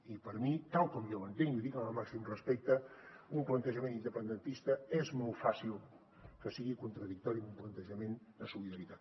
i per a mi tal com jo ho entenc l’hi dic amb el màxim respecte un plantejament independentista és molt fàcil que sigui contradictori a un plantejament de solidaritat